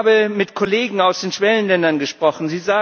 Ich habe mit Kollegen aus den Schwellenländern gesprochen.